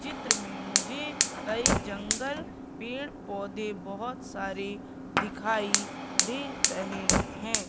चित्र में मुझे कई जंगल पेड़ पौधे बहोत सारी दिखाई दे रहें हैं।